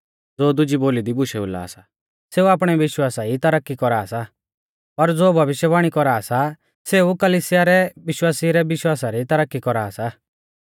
ज़ो दुजी बोली दी बुशै बोला सा सेऊ आपणै विश्वासा ई तरक्की कौरा सा पर ज़ो भविष्यवाणी कौरा सा सै कलिसिया रै विश्वासिऊ रै विश्वासा री तरक्की कौरा सा